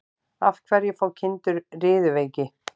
Af hverju fá kindur riðuveiki?